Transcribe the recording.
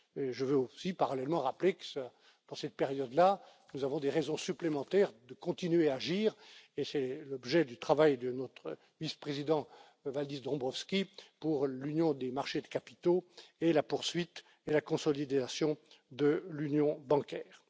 Je veux aussi, parallèlement, rappeler que dans cette période là, nous avons des raisons supplémentaires de continuer à agir, et c'est l'objet du travail de notre vice président Valdis Dombrovskis pour l'union des marchés de capitaux et la poursuite et la consolidation de l'union bancaire.